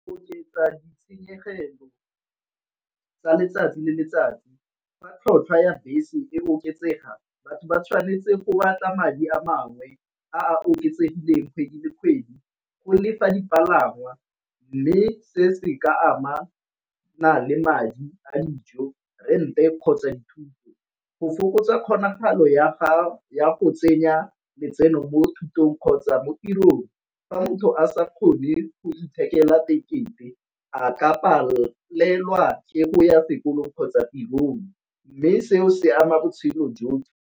Oketsa ditshenyegelo tsa letsatsi le letsatsi fa tlhotlhwa ya bese e oketsega batho ba tshwanetse go batla madi a mangwe a oketsegileng kgwedi le kgwedi go lefa dipalangwa, mme setse ka amana le madi a dijo, rent-e kgotsa dithuto. Go fokotsa kgonagalo ya go tsenya letseno mo thutong kgotsa mo tirong. Fa motho a sa kgone go fithekela tekete a ka palelwa ke go ya sekolong kgotsa tirong, mme seo se ama botshelo jotlhe.